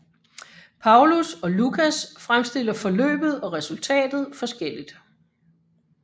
Paulus og Lukas fremstiller forløbet og resultatet forskelligt